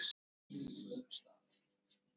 Vonandi bjargar þetta einhverju.